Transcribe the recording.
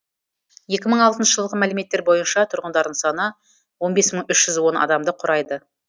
екі мың алтыншы жылғы мәліметтер бойынша тұрғындарының саны он бес мың үш жүз он адамды құрайды